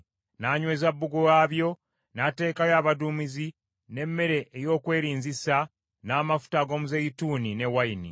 N’anyweza bbugwe waabyo, n’ateekayo abaduumizi, n’emmere ey’okwerinzisa n’amafuta ag’omuzeeyituuni ne wayini.